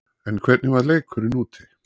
En hvernig var leikurinn úti?